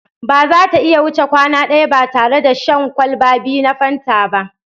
Ba za ta iya wuce kwana ɗaya ba tare da shan kwalba biyu na Fanta ba